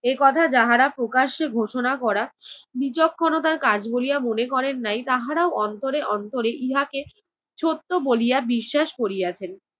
এ কথা যাহারা প্রকাশ্যে ঘোষণা করা বিচক্ষণতার কাজ বলিয়া মনে করেন নাই, তাহারাও অন্তরে অন্তরে ইহাকে সত্য বলিয়া বিশ্বাস করিয়াছেন।